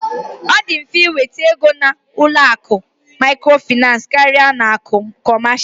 Ọ dị mfe ịnweta ego n'aka ụlọ akụ Microfinance karịa ụlọ akụ kọmasia.